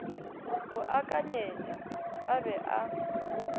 go akanyetša a be a